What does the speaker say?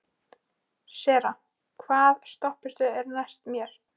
Sera, hvaða stoppistöð er næst mér?